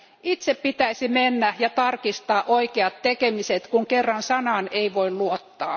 Itse pitäisi mennä ja tarkistaa oikeat tekemiset, kun kerran sanaan ei voi luottaa.